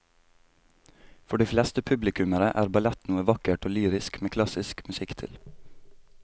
For de fleste publikummere er ballett noe vakkert og lyrisk med klassisk musikk til.